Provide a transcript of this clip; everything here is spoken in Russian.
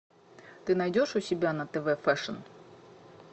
ты найдешь у себя на тв фэшн